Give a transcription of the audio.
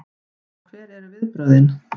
Og hver eru viðbrögðin?